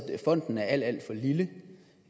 fonden er alt alt for lille og